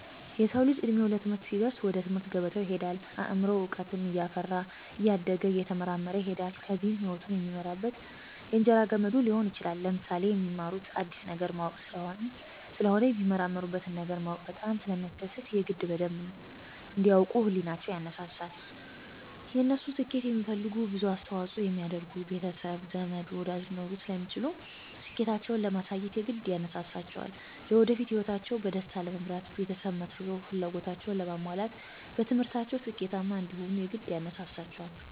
የሰዉ ልጅ እድሜዉ ለትምህርት ሲደርስ ወደ ትምህርት ገበታ ይሄዳል አምሮዉም እዉቀትን እያፈራ እያደገ እየተመራመረ ይሄዳል ከዚያም ህይወቱን የሚመራበት የእንጀራ ገመዱ ሊሆን ይችላል። ለምሳሌ፦ የሚማሩት አዲስ ነገር ለማወቅ ስለሆነ የሚመራመሩበትን ነገር ማወቅ በጣም ስለሚያስደስት የግድ በደንብ እንዲ ያዉቁ ህሊቸዉ ይነሳሳል፣ የነሱን ስኬት የሚፈልጉ ብዙ አስተዋፅኦ የሚያደርጉ ቤተሰብ፣ ዘመድ፣ ወዳጅ ሊኖሩ ስለሚችሉ ስኬታቸዉን ለማሳየት የግድ ያነሳሳቸዋልለወደፊት ህይወታቸዉን በደስታ ለመምራት ቤተሰብ መስርቶ ፍላጎታቸዉን ለማሟላት በትምህርታቸዉ ስኬታማ እንዲሆኑም የግድ ያነሳሳቸዋል።